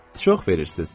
Çox verirsiz.